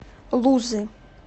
лузы